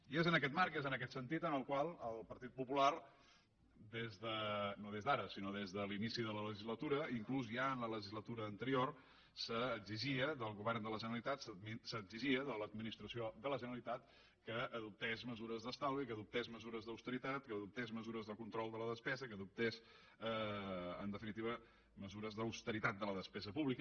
i és en aquest marc i és en aquest sentit que el partit popular no des d’ara sinó des de l’inici de la legislatura i inclús ja en la legislatura anterior exigia al govern de la generalitat exigia a l’administració de la generalitat que adoptés mesures d’estalvi que adoptés mesures d’austeritat que adoptés mesures de control de la despesa que adoptés en definitiva mesures d’austeritat de la despesa pública